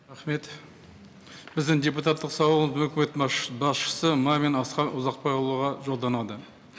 рахмет біздің депутаттық сауал өкімет басшысы мамин асқар жолданады